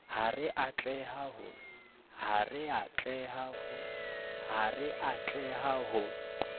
ha re a tleha ho